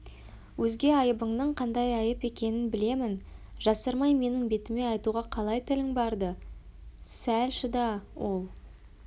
өзге айыбыңның қандай айып екенін білемін жасырмай менің бетіме айтуға қалай тілің барды сәл шыда ол